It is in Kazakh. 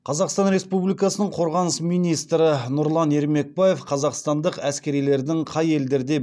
қазақстан республикасының қорғаныс министрі нұрлан ермекбаев қазақстандық әскерилердің қай елдерде